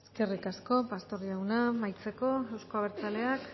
eskerrik asko pastor jauna amaitzeko euzko abertzaleak